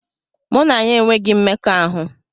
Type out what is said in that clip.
Mụ na ya enweghị mmekọahụ.